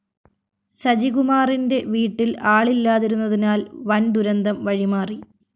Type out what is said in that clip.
സജികുമാറിന്റെ വീട്ടില്‍ ആളില്ലാതിരുന്നതിനാല്‍ വന്‍ ദുരന്തം വഴിമാറി